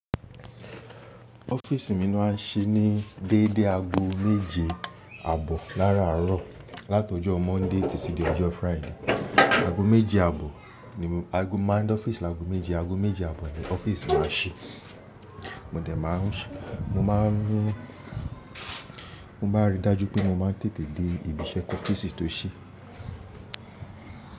Ọ́fíìsì mi má ń ṣi ní dédé aago méje àbọ̀ láràárọ̀ látọjọ́ Monday títí dé ọjọ́ Friday. Aago méje àbọ̀ ni mo, aago, mo máa n de ọ́fíìsì là aago méje, aago méje àbọ̀ ni ọ́fíìsì mi má ń ṣi. Mo dẹ̀ má ń ṣe, mo má ń rí, mo má ń rí dájú pé mo má ń tètè dé ibi iṣẹ́ ki ọ́fíìsì tó ṣí.